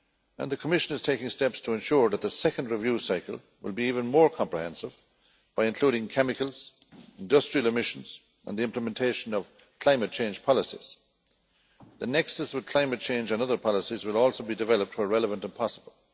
and the Commission is taking steps to ensure that the second review cycle will be even more comprehensive by including chemicals, industrial emissions and the implementation of climate change policies. The nexus with climate change and other policies will also be developed as much as possible.